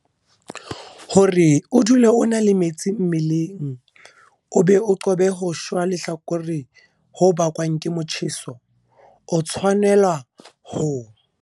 Hore o dule o na le metsi mmeleng o be o qobe ho shwa lehlakore ho bakwang ke motjheso, o tshwanela ho.